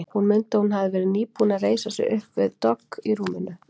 Hún mundi að hún hafði verið nýbúin að reisa sig upp við dogg í rúminu.